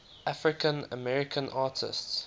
african american artists